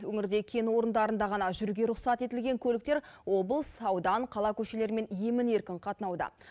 өңірде кен орындарында ғана жүруге рұқсат етілген көліктер облыс аудан қала көшелерімен емін еркін қатынауда